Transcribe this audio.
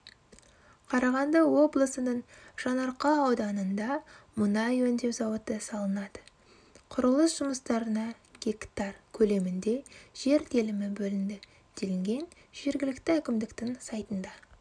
қарағанды облысының жаңаарқа ауданында мұнай өңдеу зауыты салынады құрылыс жұмыстарына гектар көлемінде жер телімі бөлінді делінген жергілікті әкімдіктің сайтында